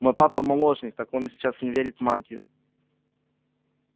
мой папа молочник так он и сейчас не верит в магию